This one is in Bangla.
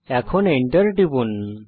এখন Enter টিপুন